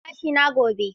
Zan yi kitson gashina gobe.